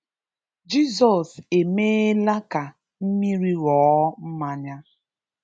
Jizọs emeela ka mmiri ghọọ mmanya.